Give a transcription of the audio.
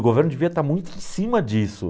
O governo devia estar muito em cima disso.